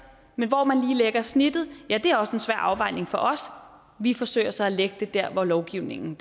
men hvor man lige lægger snittet er også en svær afvejning for os vi forsøger så at lægge det der hvor lovgivningen